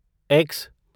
x